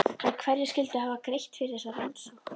En hverjir skyldu hafa greitt fyrir þessa rannsókn?